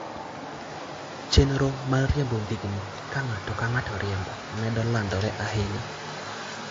Chenro mar riembo ndigni ka ng'ato ka ng'ato riembo, medo landore ahinya.